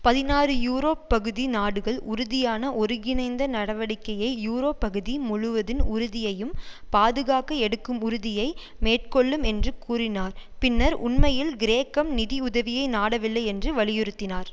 பதினாறு யூரோப் பகுதி நாடுகள் உறுதியான ஒருகிணைந்த நடவடிக்கையை யூரோ பகுதி முழுவதின் உறுதியையும் பாதுகாக்க எடுக்கும் உறுதியை மேற்கொள்ளும் என்று கூறினார் பின்னர் உண்மையில் கிரேக்கம் நிதி உதவியை நாடவில்லை என்று வலியுறுத்தினார்